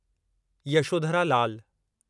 Yashodhara Lal